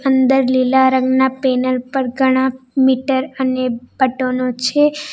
અંદર લીલા રંગના પેનલ પર ઘણા મીટર અને પટોનો ઑ છે.